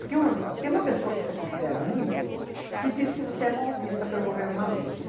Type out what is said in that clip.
Porque um tem uma pessoa que você considera muito, que disse que você é mal vista pelo governo Maluf.